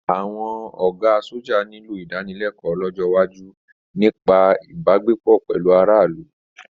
Àwọn ọ̀gá sọ́jà nílò ìdánilẹ́kọ̀ọ́ lọ́jọ́ iwájú nípa ìbágbépọ̀ pẹ̀lú aráàlú.